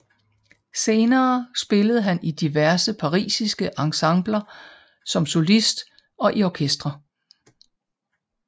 Senere spillede han i diverse parisiske ensembler som solist og i orkester